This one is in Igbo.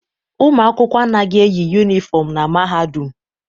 Ụmụ akwụkwọ anaghị eyi yụnifọm na Mahadum.